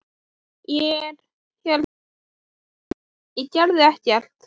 Ég- hérna sko- ég gerði ekkert.